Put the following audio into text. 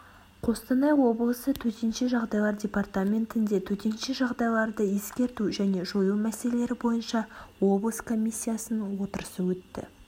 қостанай облысы төтенше жағдайлар департаментінде төтенше жағдайларды ескерту және жою міселелері бойынша облыс комиссиясының отырысы өтті